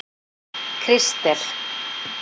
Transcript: Kristel